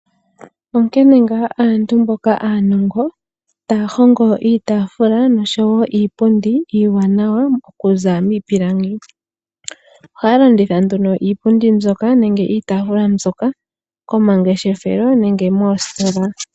Onkene ngaa aantu mboka aanongo taya hongo iitafula oshowo iipundi iiwanawa okuza miipilangi. Ohaya landitha iipundi mbyoka nenge iitafula mbyoka komangeshefelo nenge moositola.